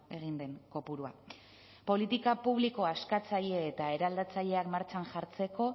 egin den kopurua politika publiko askatzaile eta eraldatzaileak martxan jartzeko